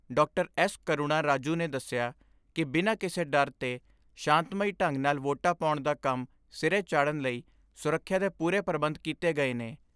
S Karuna Raju ਨੇ ਦਸਿਆ ਕਿ ਬਿਨਾਂ ਕਿਸੇ ਡਰ ਦੇ ਸ਼ਾਂਤਮਈ ਢੰਗ ਨਾਲ ਵੋਟਾਂ ਪਾਉਣ ਦਾ ਕੰਮ ਸਿਰੇ ਚਾੜਣ ਲਈ ਸੁਰੱਖਿਆ ਦੇ ਪੂਰੇ ਪ੍ਰਬੰਧ ਕੀਤੇ ਗਏ ਨੇ।